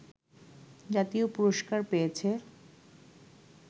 জাতীয় পুরষ্কার পেয়েছে